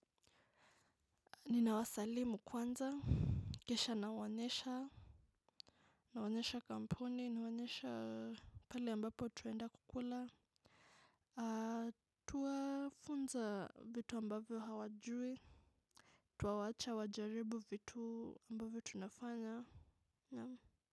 Ninawasalimu kwanza, kisha nawaonyesha. Nawaonyesha kampuni, naonyesha pahali ambapo tunaenda kukula. Tuwafunza vitu ambavyo hawajui. Twawacha wajaribu vitu ambavyo tunafanya.